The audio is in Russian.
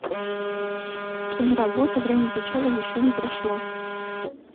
киноработа время печали еще не прошло